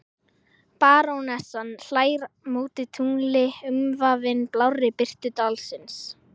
Barónessan hlær móti tungli umvafin blárri birtu dalsins.